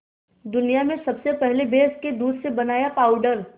दुनिया में सबसे पहले भैंस के दूध से बनाया पावडर